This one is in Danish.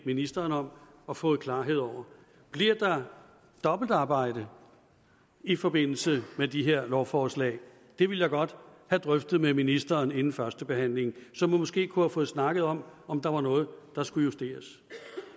ministeren om og fået klarhed over bliver der dobbeltarbejde i forbindelse med de her lovforslag det ville jeg godt have drøftet med ministeren inden førstebehandlingen så man måske kunne have fået snakket om om der var noget der skulle justeres